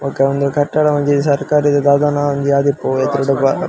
ಬೊಕ ಉಂದು ಕಟ್ಟಡ ಒಂಜಿ ಸರಕಾರದ ದಾದಾನ ಒಂಜಿ ಆದಿಪ್ಪು .]